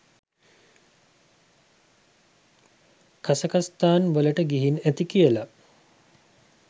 කසකස්ථාන් වලට ගිහින් ඇති කියලා.